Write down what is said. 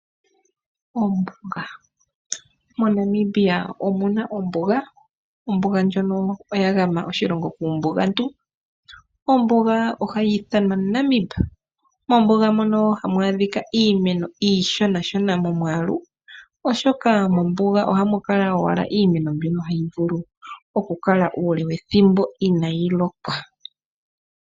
MoNamibia omuna ombuga, ombuga ndjono oyagama oshilongo kuumbugantu, ombuga ohayi ithanwa Namib Desert. Mombuga muno ohamu adhika iimeno iishonashona momwaalu oshoka mombuga ohamu kala owala iimeno mbyoka hayi vulu kukala uule wethimbo inaayi mona omvula.